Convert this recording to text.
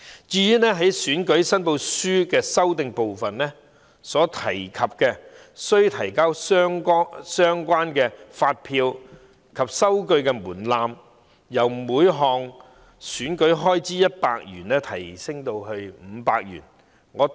關於選舉申報書的修訂，當局把須提交相關發票及收據的門檻，由每項選舉開支100元提高至500元。